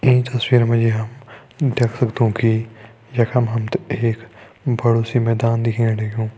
ईं तस्वीर मा जी हम देख सगदों कि यखम हमतें एक बड़ु सी मैदान दिखेण लग्युं।